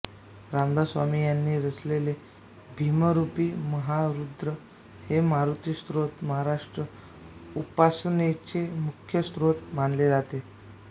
रामदास स्वामी यांनी रचलेले भीमरूपी महारुद्रा हे मारुती स्तोत्र महाराष्ट्रात उपासनेचे मुख्य स्तोत्र मानले जाते